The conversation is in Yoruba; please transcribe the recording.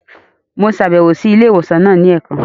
Mo ṣabẹwo si ilé ìwòsàn náà ni ẹẹkan.